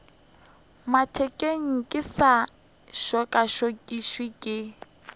mathekeng ke se tšokatšokišwe ke